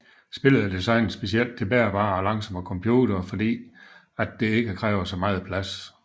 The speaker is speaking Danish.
Spillet er designet specielt til bærbare og langsomme computer fordi at det ikke kræver så meget plads